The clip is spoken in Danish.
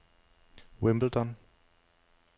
Wimbledon